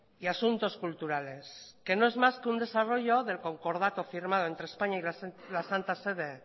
y asuntos culturales que no es más que un desarrollo del concordato firmado entre españa y la santa sede